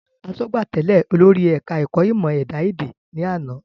Asọ́gbà tèlé olórí ẹ̀ka ẹ̀kọ́ ìmò ẹ̀dá ẹ̀dẹ̀ ní àná